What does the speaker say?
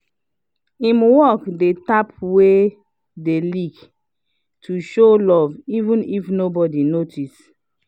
im work the tap wey dey leak to show love even if nobody notice